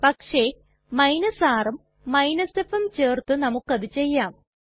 പക്ഷെ rഉം fഉം ചേർത്ത് നമുക്കത് ചെയ്യാം